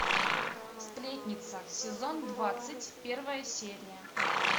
сплетница сезон двадцать первая серия